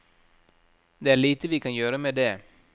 Det er lite vi kan gjøre med det.